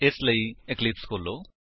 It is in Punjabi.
ਇਸਦੇ ਲਈ ਇਕਲਿਪਸ ਖੋਲੋ